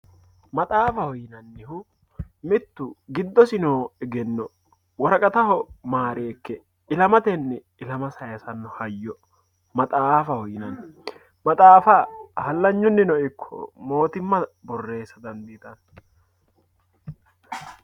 maxaafaho yinannihu mittu giddosi noo egenno woraqataho maareekke ilamatanni ilama sayiisanno hayyo maxaafaho yinanni maxaafa hallanyunino ikko mootimma borreessa dandiitanno.